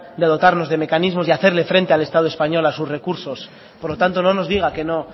de dotarnos de mecanismos y hacerle frente al estado español a sus recursos por lo tanto no nos diga que no